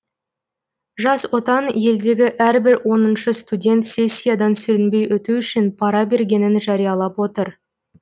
жас отан елдегі әрбір оныншы студент сессиядан сүрінбей өту үшін пара бергенін жариялап отыр